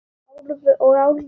Og Álfur litli.